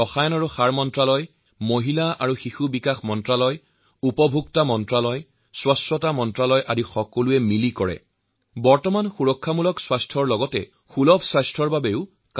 এতিয়া সকলো বিভাগ আৰু মন্ত্ৰালয়সেয়া স্বচ্ছতা মন্ত্ৰালয় হওঁক বা আয়ুষ মন্ত্ৰালয়েই হওঁক ৰাসায়ণিক আৰু সাৰ মন্ত্ৰালয় হওঁক বা উপভোক্তা মন্ত্ৰালয় মহিলা আৰু শিশুবিকাশ মন্ত্ৰালয়েই হওঁক অথবা বিভিন্ন ৰাজ্য চৰকাৰসকলোৱে ইয়াৰ সৈতে সুস্থ ভাৰতৰ বাবে কাম কৰিছে